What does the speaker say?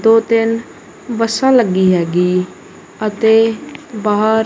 ਦੋ ਤਿੰਨ ਬੱਸਾਂ ਲੱਗੀ ਹੈਗੀ ਅਤੇ ਬਾਹਰ--